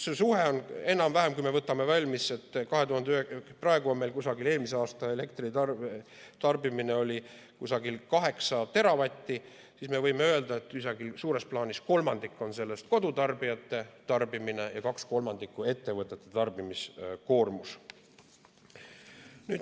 See suhe on enam-vähem selline, et kui me võtame aluseks, et eelmise aasta elektritarbimine oli umbes kaheksa teravatti, siis võime öelda, et üsnagi suures plaanis oli 1/3 sellest kodutarbijate tarbimine ja 2/3 ettevõtete tarbimiskoormus.